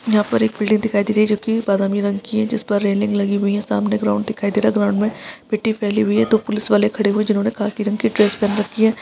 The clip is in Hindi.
यहा पर एक बिल्डिंग दिखाई दे रही जो की बादामी रंग की जिसपर रेलिंग लगी हुई है सामने ग्राउंड दिखाई दे रहा ग्राउंड मे मिट्ठी फैली हुई है दो पुलिस वाले खड़े हुए है जिन्होने खाकी रंग की ड्रेस पहन रखी है।